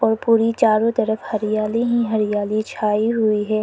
पूरी चारों तरफ हरियाली ही हरियाली छाई हुई है।